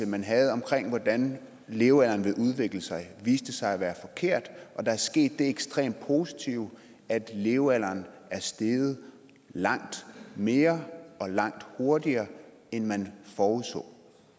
man havde om hvordan levealderen ville udvikle sig viste sig at være forkert og der er sket det ekstremt positive at levealderen er steget langt mere og langt hurtigere end man forudså